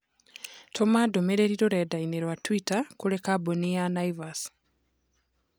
Tũma ndũmĩrĩri rũrenda-inī rũa tũita kũrĩ kabambũni Naivas